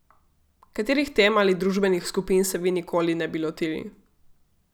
Katerih tem ali družbenih skupin se vi nikoli ne bi lotili?